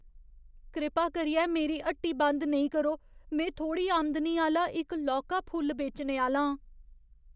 कृपा करियै मेरी हट्टी बंद नेईं करो। में थोह्ड़ी आमदनी आह्‌ला इक लौह्का फुल बेचने आह्‌ला आं ।